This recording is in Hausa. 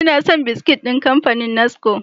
Ina son biskit ɗin kamfanin NASCO.